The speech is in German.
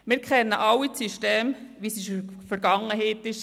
Wir kennen alle das System, wie es in der Vergangenheit war.